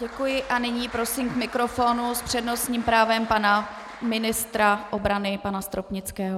Děkuji a nyní prosím k mikrofonu s přednostním právem pana ministra obrany pana Stropnického.